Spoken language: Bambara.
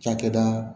Cakɛda